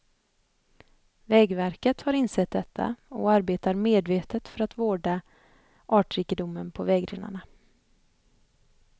Vägverket har insett detta och arbetar medvetet för att vårda artrikedomen på vägrenarna.